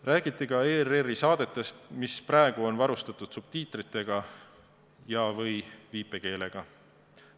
Räägiti ka ERR-i saadetest, mis praegu on varustatud subtiitritega ja/või viipekeeletõlkega.